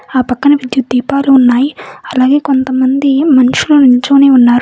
ఆ పక్కనే విద్యుత్ దీపాలు ఉన్నాయి అలాగే కొంతమంది మనుషులు నించొని ఉన్నారు.